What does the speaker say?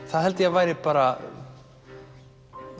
það held ég að væri bara